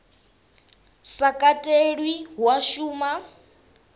sa katelwa hu a shuma